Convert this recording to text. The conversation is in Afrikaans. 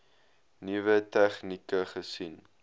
nuwe tegnieke gesien